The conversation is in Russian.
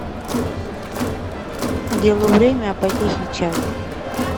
делу время а потехе час